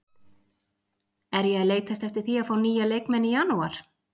Er ég að leitast eftir því að fá nýja leikmenn í janúar?